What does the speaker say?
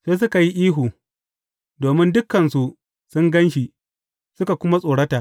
Sai suka yi ihu, domin dukansu sun gan shi, suka kuma tsorata.